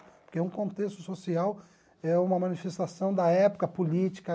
Porque um contexto social é uma manifestação da época política.